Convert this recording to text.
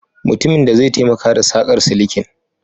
Mutumin zai taimaka da saƙar silikin